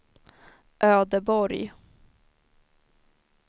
Ödeborg